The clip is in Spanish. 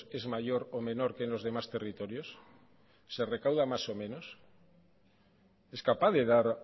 es mayor o menor que en los demás territorios se recauda más o menos es capaz de dar